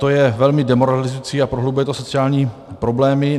To je velmi demoralizující a prohlubuje to sociální problémy.